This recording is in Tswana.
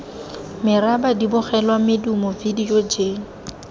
meraba dibogelwa medumo vidio j